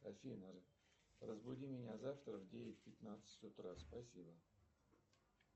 афина разбуди меня завтра в девять пятнадцать утра спасибо